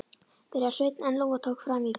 byrjaði Sveinn en Lóa tók fram í fyrir honum